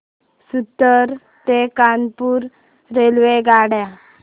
सूरत ते कानपुर रेल्वेगाड्या